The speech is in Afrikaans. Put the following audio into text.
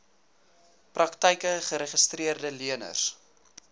praktyke geregistreede leners